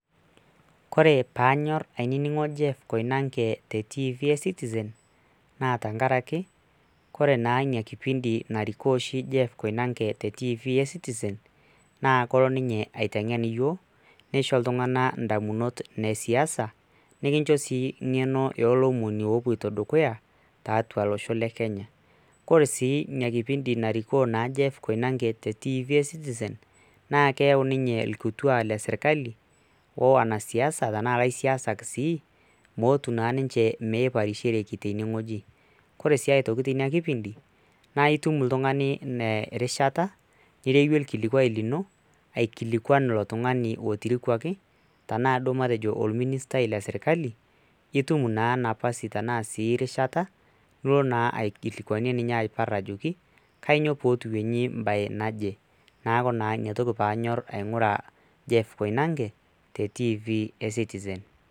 Kore pee anyor ainining'o jeff koinange te tv e citizen naa tenkaraki, kore naa ina kipindi narikoo oshi jeff koinange te tv e citizen naa kolo ninye aiteng'en nisho iltung'anak iamunot ne siasa. nikincho sii engeno noo lomoni oloito dukuya, tiatua losho le kenya, ore sii ina kipindi naa narikoo naa jeff koinage te tv e citizen naa keun ninye irkituaak le sirkali ashu wanasiasa mootu naa ninche miparishereki tene wueji. ore sii aitoki teina kipindi, naa itum oltungani ina rishata nireyie ilkiliuai lino. aikilikuan ilo tungani lotirikuaki. tenaa duo matejo alministai le sirkali, itum naa nafasi tenaa rishata nilo naa aikilikuanie ninye aipar ajoki kanyioo pee etii bae naje. neeku ina toki pee anyor aing'ura jeff koinange te citizen